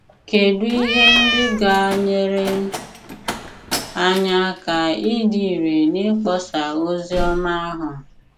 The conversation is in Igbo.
Kedụ ihe ndị ga - enyere anyị aka ịdị irè n’ịkpọsa ozi ọma ahụ?